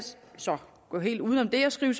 gå helt uden om det og skrive